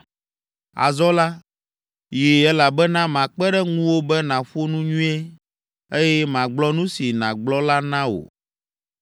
Azɔ la, yii, elabena makpe ɖe ŋuwò be nàƒo nu nyuie, eye magblɔ nu si nàgblɔ la na wò.”